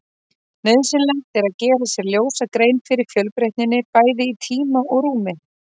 Nauðsynlegt er að gera sér ljósa grein fyrir fjölbreytninni, bæði í tíma og rúmi.